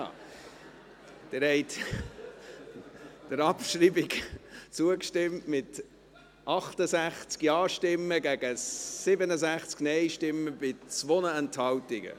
Sie haben der Abschreibung zugestimmt, mit 68 Ja- gegen 67 Nein-Stimmen bei 2 Enthaltungen.